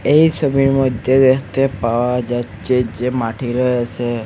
এই ছবির মইদ্যে দ্যাখতে পাওয়া যাচ্চে যে মাটি রয়েসে।